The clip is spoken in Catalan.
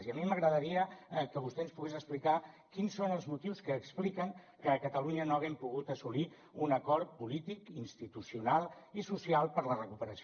i a mi m’agradaria que vostè ens pogués explicar quins són els motius que expliquen que a catalunya no haguem pogut assolir un acord polític institucional i social per a la recuperació